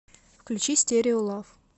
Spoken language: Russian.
включи стерео лав